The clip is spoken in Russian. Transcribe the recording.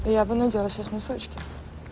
я бы надела сейчас носочки